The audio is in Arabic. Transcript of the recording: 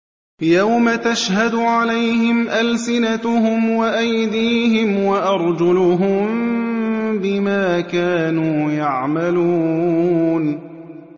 يَوْمَ تَشْهَدُ عَلَيْهِمْ أَلْسِنَتُهُمْ وَأَيْدِيهِمْ وَأَرْجُلُهُم بِمَا كَانُوا يَعْمَلُونَ